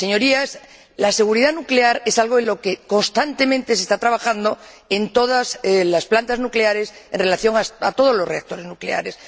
Señorías, la seguridad nuclear es algo en lo que constantemente se está trabajando en todas las plantas nucleares, en relación con todos los reactores nucleares.